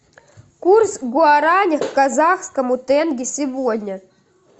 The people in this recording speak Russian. курс гуарани к казахскому тенге сегодня